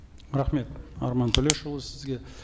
рахмет арман төлешұлы сізге